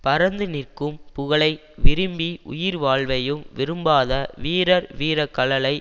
பரந்து நிற்க்கும் புகழை விரும்பி உயிர்வாழ்வையும் விரும்பாத வீரர் வீரக் கழலை